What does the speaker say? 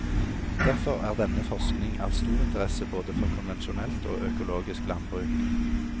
Derfor er denne forskning av stor interesse både for konvensjonelt og økologisk landbruk.